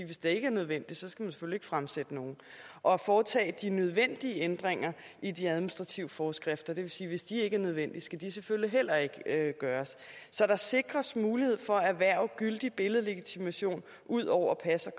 hvis det ikke er nødvendigt skal ikke fremsætte noget og foretage de nødvendige ændringer i administrative forskrifter og det vil sige at hvis de ikke er nødvendige skal de selvfølgelig heller ikke gøres så der sikres mulighed for at erhverve gyldig billedlegitimation ud over pas